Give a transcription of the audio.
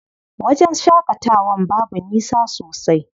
Wajen shaƙatawan babu nisa sosai.